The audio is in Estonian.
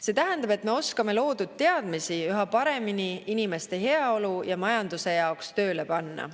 See tähendab, et me oskame loodud teadmisi üha paremini inimeste heaolu ja majanduse jaoks tööle panna.